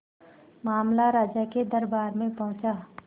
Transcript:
मामला राजा के दरबार में पहुंचा